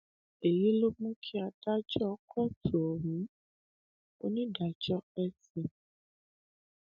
èyí ló mú kí adájọ kóòtù ohun onídàájọ